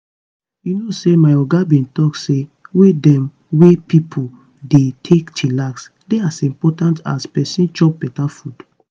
you know say my oga bin talk say way dem wey pipo dey take chillax dey as impotant as make peson chop beta food.